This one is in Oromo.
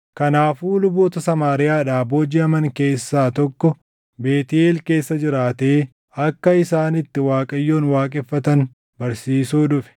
Kanaafuu luboota Samaariyaadhaa boojiʼaman keessaa tokko Beetʼeel keessa jiraatee akka isaan itti Waaqayyoon waaqeffatan barsiisuu dhufe.